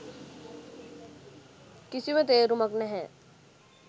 කිසිම තේරුමක් නැහැ.